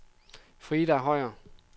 Frida Høyer